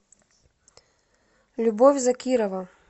любовь закирова